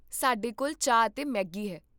ਸਾਡੇ ਕੋਲ ਚਾਹ ਅਤੇ ਮੈਗੀ ਹੈ